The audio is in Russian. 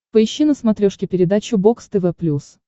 поищи на смотрешке передачу бокс тв плюс